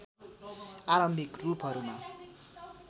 आरम्भिक रूपहरूमा